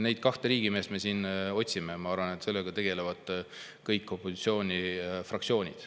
Neid kahte riigimeest me siin otsime ja ma arvan, et sellega tegelevad kõik opositsioonifraktsioonid.